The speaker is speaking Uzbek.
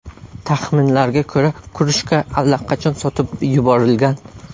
Taxminlarga ko‘ra, krujka allaqachon sotib yuborilgan.